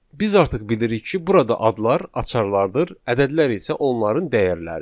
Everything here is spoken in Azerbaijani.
Biz artıq bilirik ki, burada adlar açarlardır, ədədlər isə onların dəyərləri.